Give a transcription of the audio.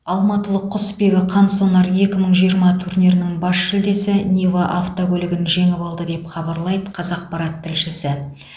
алматылық құсбегі қансонар екі мңы жиырма турнирінің бас жүлдесі нива автокөлігін жеңіп алды деп хабарлайды қазақпарат тілшісі